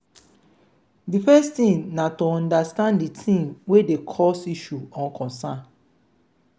di first thing na to understand di thing wey dey cause issue or concern